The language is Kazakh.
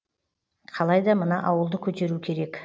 қалайда мына ауылды көтеру керек